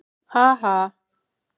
Ha ha!